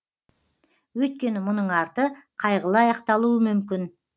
өйткені мұның арты қайғылы аяқталуы мүмкін